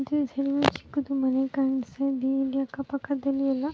ಎಲ್ಲ ಚಿಕ್ಕದು ಮನೆ ಕಾಣಿಸ್ತಾ ಇದೆ ಅಕ್ಕ ಪಕ್ಕದಲ್ಲಿ ಎಲ್ಲ --